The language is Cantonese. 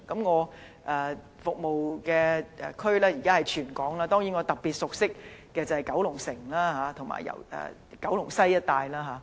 我現時服務的地區是全港，當然我特別熟悉的是九龍城及九龍西一帶。